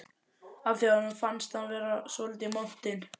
af því að honum fannst hún svolítið montin.